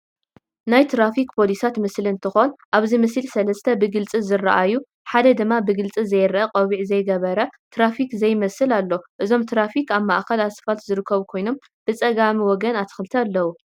ናይ ትራፊክ ፖሊሳት ምስሊ እንትኮን አብዚ ምስሊ ሰለስተ ብግልፂ ዝረኣዩ ሓደ ድማ ብግልፂ ዘይረአ ቆቢዕ ዘይገበረ ትራፊክ ዘይመስል አሎ፡፡ እዞም ትራፊክ አብ ማእከል አስፋልት ዝርከቡ ኮይኖም ብፀጋምወገን አትክልቲ አለዉ፡፡